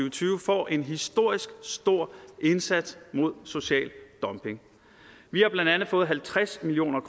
og tyve får en historisk stor indsats mod social dumping vi har blandt andet fået halvtreds million